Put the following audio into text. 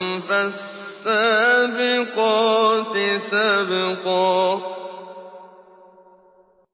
فَالسَّابِقَاتِ سَبْقًا